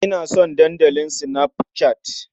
Ina son Dandalin Snapchat.